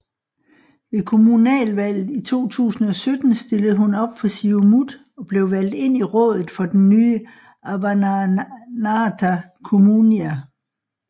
Ved kommunalvalget i 2017 stillede hun op for Siumut og blev valgt ind i rådet for den nye Avannaata Kommunia